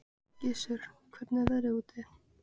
Gissur, hvernig er veðrið úti?